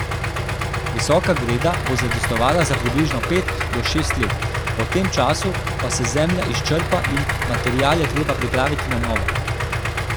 Visoka greda bo zadostovala za približno pet do šest let, po tem času pa se zemlja izčrpa in material je treba pripraviti na novo.